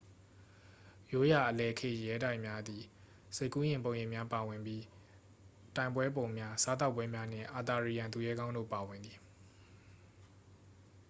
ရိုးရာ အလယ်ခေတ်ရဲတိုက်များသည် စိတ်ကူးယဉ်ပုံရိပ်များပါဝင်ပြီး တိုင်ပွဲပုံများ စားသောက်ပွဲများနှင့် အာသာရီယန်သူရဲကောင်းတို့ပါဝင်သည်